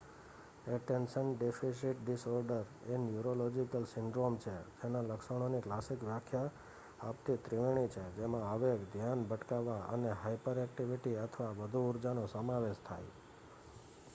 "Attention deficit disorder "એ neurological syndrome છે જેના લક્ષણોની ક્લાસિક વ્યાખ્યા આપતી ત્રિવેણી છે જેમાં આવેગ ધ્યાન ભટકાવવા અને હાયપરએક્ટિવિટી અથવા વધુ ઊર્જા""નો સમાવેશ થાય.